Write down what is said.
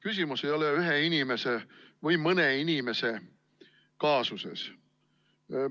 Küsimus ei ole ühe inimese või mõne inimese kaasuses.